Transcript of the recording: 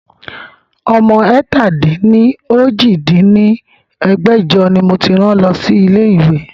Ọmọ ẹ̀ta-dín-ní-ojì dín ní ẹgbẹ́jọ ni mo ti rán lọ sí ilé ìwé